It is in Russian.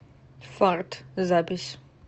фарт запись